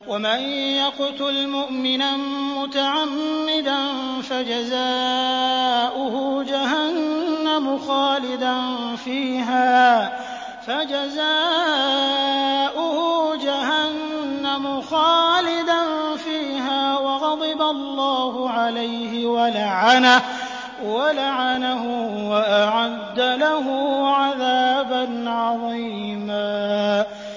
وَمَن يَقْتُلْ مُؤْمِنًا مُّتَعَمِّدًا فَجَزَاؤُهُ جَهَنَّمُ خَالِدًا فِيهَا وَغَضِبَ اللَّهُ عَلَيْهِ وَلَعَنَهُ وَأَعَدَّ لَهُ عَذَابًا عَظِيمًا